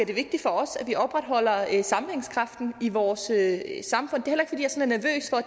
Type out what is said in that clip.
det vigtigt for os at vi opretholder sammenhængskraften i vores at